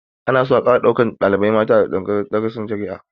Ana so a ƙara ɗaukan malamai mata a tsangayar darasin shari'a